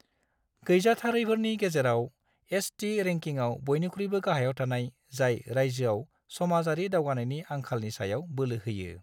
गैजाथारैफोरनि गेजेरआव, एसटी रैंकिंआव बयनिख्रुइबो गाहायाव थानाय, जाय रायजोआव समाजारि दावगानायनि आंखालनि सायाव बोलो होयो।